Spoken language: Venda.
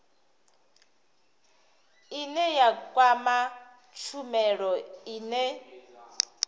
ine ya kwama tshumelo ine